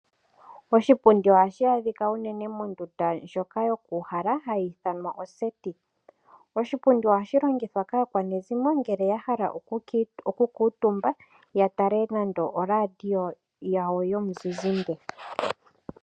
Oshipundi oha shi adhika unene mondunda ndjoka yoku uhala ha yi ithanwa oseti, Oshipundi oha shilongitwa kaakwanezimo ngele ya hala oku kuutumba ya tale nande oraadio yawo yomuzizimbe.